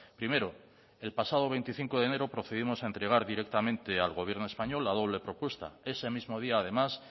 primero el pasado veinticinco de enero procedimos a entregar directamente al gobierno español la doble propuesta ese mismo día además